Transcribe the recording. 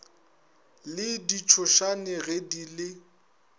le ditšhošane ge di le